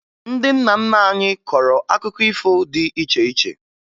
Ndị nna nna anyị kọrọ akụkọ ifo dị iche iche